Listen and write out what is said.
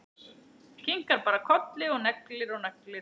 Kinkar bara kolli og neglir og neglir.